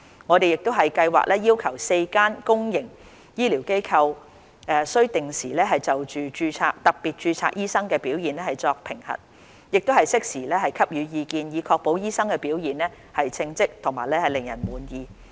我們亦計劃要求4間公營醫療機構須定時就特別註冊醫生的表現作評核，並適時給予意見，以確保醫生的表現稱職和令人滿意。